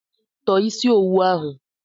Tọọ isi owu ahụ!